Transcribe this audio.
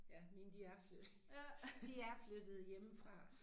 Ja mine de er flyttet de er flyttet hjemmefra